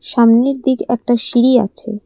সামনের দিকে একটা সিঁড়ি আছে।